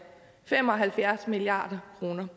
fem og halvfjerds milliard kroner